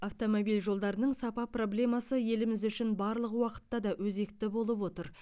автомобиль жолдарының сапа проблемасы еліміз үшін барлық уақытта да өзекті болып отыр